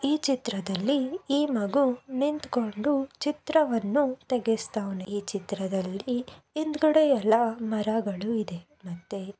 ಈ ಚಿತ್ರದಲ್ಲಿ ಈ ಮಗು ನಿಂತುಕೊಂಡು ಚಿತ್ರವನ್ನು ತೇಗಸ್ತಾವ್ನೆ. ಈ ಚಿತ್ರದಲ್ಲಿ ಹಿಂದಗಡೆ ಎಲ್ಲಾ ಮರಗಳು ಇದೆ ಮತ್ತೆ--